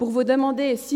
vous demander si